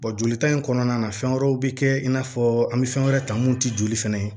jolita in kɔnɔna na fɛn wɛrɛw bɛ kɛ i n'a fɔ an bɛ fɛn wɛrɛ ta mun ti joli fana ye